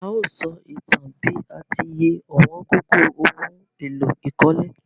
A o só ìtan bi a ti ye ọ̀wóngógó oun éló ìkólé